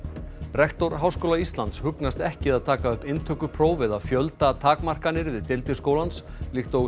rektor Háskóla Íslands hugnast ekki að taka upp inntökupróf eða fjöldatakmarkanir við deildir skólans líkt og